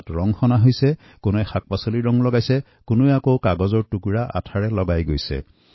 কোনো কোনোৱে গণেশক ভেষজ ৰঙেৰে ৰং দিছে কোনোবাই আকৌ কাগজ কাটি আঠা লগাই তাতে লগাইছে